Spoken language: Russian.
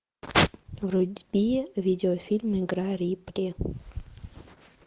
вруби видеофильм игра рипли